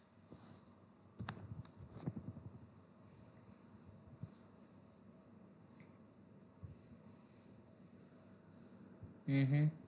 હમ હા